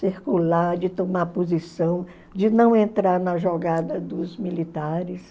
Circular, de tomar posição, de não entrar na jogada dos militares.